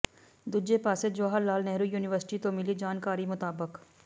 ਦੂਜੇ ਪਾਸੇ ਜਵਾਹਰਲਾਲ ਨਹਿਰੂ ਯੂਨੀਵਰਸਿਟੀ ਤੋਂ ਮਿਲੀ ਜਾਣਕਾਰੀ ਮੁਤਾਬਕ